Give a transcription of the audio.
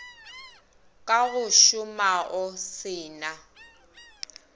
ka go šomao se na